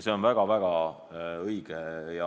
See on väga-väga õige.